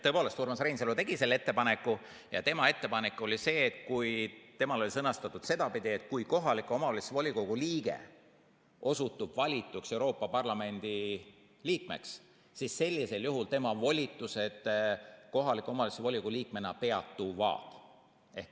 Tõepoolest, Urmas Reinsalu tegi ettepaneku ja tema ettepanek oli see, temal oli sõnastatud sedapidi, et kui kohaliku omavalitsuse volikogu liige osutub valituks Euroopa Parlamendi liikmeks, siis sellisel juhul tema volitused kohaliku omavalitsuse volikogu liikmena peatuvad.